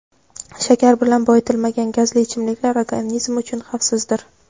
Shakar bilan boyitilmagan gazli ichimliklar organizm uchun xavfsizdir.